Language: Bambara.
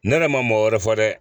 Ne yɛrɛ ma mɔgɔ wɛrɛ fɔ dɛ